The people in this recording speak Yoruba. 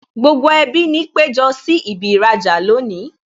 Gbogbo ẹbí ni péjọ sí ibi īrajà lónìí